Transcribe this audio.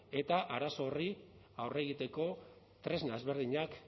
eta arazo horri aurre egiteko tresna ezberdinak